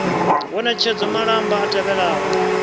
wo ṋetshedza malamba a tevhelaho